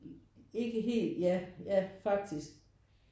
Ikke helt ja ja faktisk